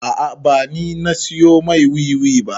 A'a ba ni na siyo mai wiwi ba